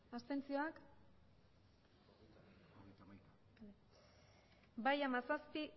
abstenzioak emandako botoak hirurogeita hamabost bai hamazazpi